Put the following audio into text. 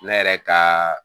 Ne yɛrɛ ka